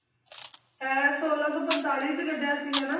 ਇਹ ਛੋਲਾਂ ਸੌ ਪੰਤਾਲੀ 'ਚ ਗੱਢਿਆ ਸੀਗਾ ਨਾ?